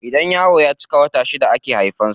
Idan yaro ya cika wata shida ake haifan sa.